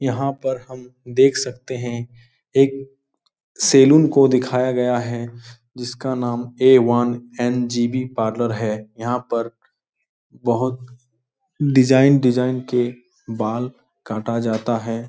यहाँ पर हम देख सकते हैं। एक सैलून को दिखाया गया है। जिसका नाम ऐ वन ऍन.जी.बी. पार्लर है। यहाँ पर बोहोत डिज़ाइन डिज़ाइन के बाल काटा जाता है।